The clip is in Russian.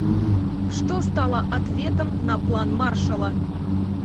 что стало ответом на план маршалла